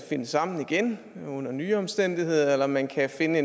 finde sammen igen under nye omstændigheder eller man kan finde